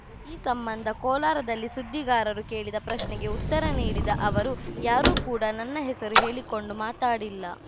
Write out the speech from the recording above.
ಈ ಸಂಬಂಧ ಕೋಲಾರದಲ್ಲಿ ಸುದ್ದಿಗಾರರು ಕೇಳಿದ ಪ್ರಶ್ನೆಗೆ ಉತ್ತರ ನೀಡಿದ ಅವರು ಯಾರೂ ಕೂಡಾ ನನ್ನ ಹೆಸರು ಹೇಳಿಕೊಂಡು ಮಾತಾಡಿಲ್ಲ